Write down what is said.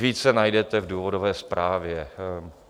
Více najdete v důvodové zprávě.